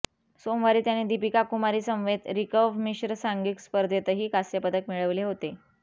सोमवारी त्याने दीपिका कुमारीसमवेत रिकर्व्ह मिश्र सांघिक स्पर्धेतही कांस्यपदक मिळविले होते